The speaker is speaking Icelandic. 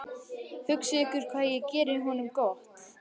Hugsið ykkur hvað ég geri honum gott.